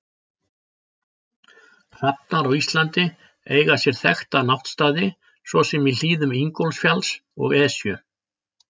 Hrafnar á Íslandi eiga sér þekkta náttstaði svo sem í hlíðum Ingólfsfjalls og Esju.